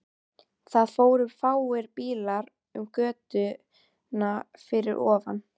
Það fóru fáir bílar um götuna fyrir ofan.